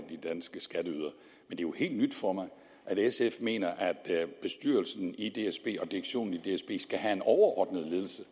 af de helt nyt for mig at sf mener at bestyrelsen og direktionen i dsb skal have en overordnet ledelse